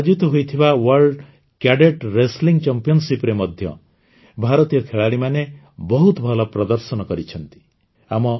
ରୋମରେ ଆୟୋଜିତ ହୋଇଥିବା world cadet wrestling Championshipରେ ମଧ୍ୟ ଭାରତୀୟ ଖେଳାଳିମାନେ ବହୁତ ଭଲ ପ୍ରଦର୍ଶନ କରିଛନ୍ତି